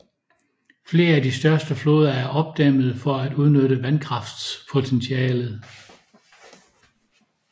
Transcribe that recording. Flere af de største floder er opdæmmede for at udnytte vandkraftpotentialet